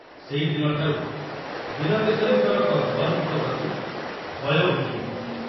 ସେଇଦିନ ଠାରୁ ବୀରକେଶରୀଙ୍କର କକବର୍ଣ୍ଣଙ୍କ ପ୍ରତି ଭୟ ହୋଇଯାଇଥିଲା।